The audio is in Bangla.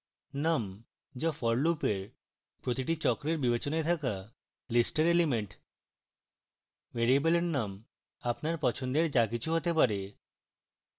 numযা for loop এর প্রতিটি চক্রের বিবেচনায় থাকা list এর element ভ্যারিয়েবলের num আপনার পছন্দের যা কিছু হতে পারে